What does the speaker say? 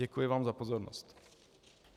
Děkuji vám za pozornost.